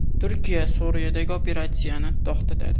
Turkiya Suriyadagi operatsiyani to‘xtatadi.